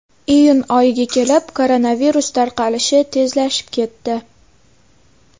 Iyun oyiga kelib koronavirus tarqalishi tezlashib ketdi.